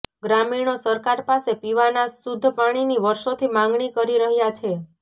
ગ્રામીણો સરકાર પાસે પીવાના શુદ્ધ પાણીની વર્ષોથી માગણી કરી રહ્યા છે